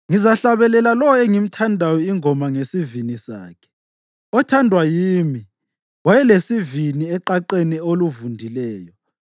Ngizahlabelela lowo engimthandayo ingoma ngesivini sakhe: Othandwa yimi wayelesivini eqaqeni oluvundileyo.